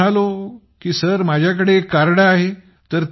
मग मी म्हणालो की सर माझ्याकडे एक कार्ड आहे